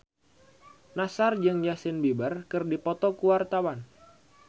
Nassar jeung Justin Beiber keur dipoto ku wartawan